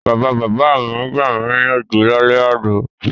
Bàbabàbá mi gbami níyànjú lálẹ́ àná.